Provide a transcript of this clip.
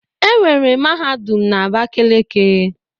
Enwere mahadum na Abakeleke